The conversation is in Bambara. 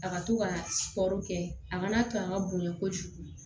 A ka to ka kɔɔri kɛ a kana to a ka bonɲɛ kojugu